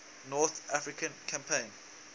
north african campaign